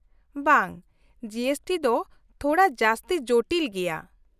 -ᱵᱟᱝ, G S T ᱫᱚ ᱛᱷᱚᱲᱟ ᱡᱟᱹᱥᱛᱤ ᱡᱚᱴᱤᱞ ᱜᱮᱭᱟ ᱾